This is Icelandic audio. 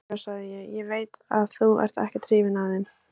Já, já, sagði ég, ég veit að þú ert ekkert hrifinn af þeim.